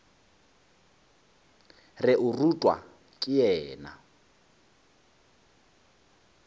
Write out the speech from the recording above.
re o rutwa ke yena